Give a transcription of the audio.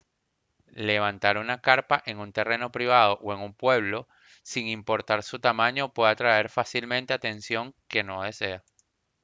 levantar una carpa en un terreno privado o en un pueblo sin importar su tamaño puede atraer fácilmente atención que no desea